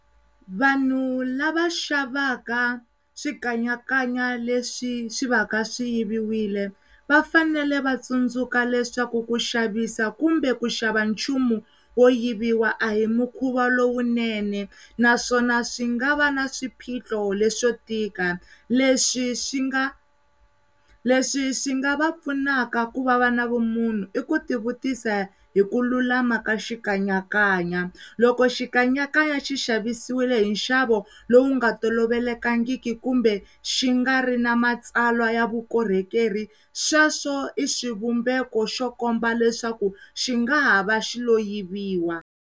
Vanhu lava xavaka Swikanyakanya leswi swi va ka swi yivile va fanele va tsundzuka leswaku ku xavisa kumbe ku xava nchumu wo yiviwa a hi mukhuva lowunene naswona swi nga va na swiphiqo leswo tika leswi swi nga, leswi swi nga va pfunaka ku va va na vumunhu i ku tivutisa hi ku lulama ka Xikanyakanya loko Xikanyakanya xi xavisiwile hi nxavo lowu nga tolovelekangiki kumbe swi nga ri na matsalwa ya vukorhokeri sweswo i xivumbeko xo komba leswaku xingahava xi lo yiviwa.